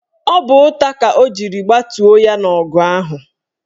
Ọ bụ ụta ka ọ jiri gbatuo ya n' ọgụ ahụ.